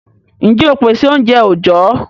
Ǹjẹ́ óò pèsè oúnjẹ òjó?